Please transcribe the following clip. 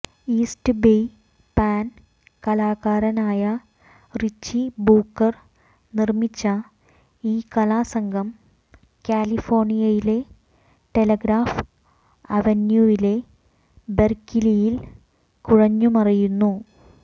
east Bay പാൻ കലാകാരനായ Richie Booker നിർമ്മിച്ച ഈ കലാസംഘം കാലിഫോർണിയയിലെ ടെലഗ്രാഫ് അവന്യൂവിലെ ബെർക്കിലിയിൽ കുഴഞ്ഞുമറിയുന്നു